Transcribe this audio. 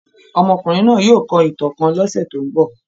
Ọ́mọkunrin naa yóò kọ ìtan kan ni ọ́sẹ tó ǹbọ.